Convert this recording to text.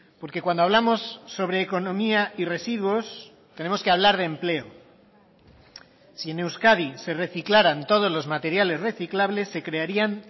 porque cuando hablamos sobre economía y residuos tenemos que hablar de empleo si en euskadi se reciclaran todos los materiales reciclables se crearían